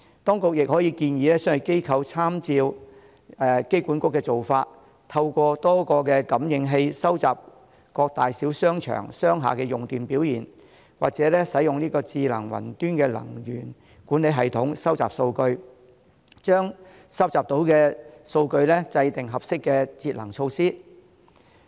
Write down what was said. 當局亦可以建議商業機構參照香港機場管理局的做法，透過多個感應器收集各大小商場、商廈的用電表現，或使用智能雲端能源管理系統收集數據，把收集到的數據制訂合適的節能措施。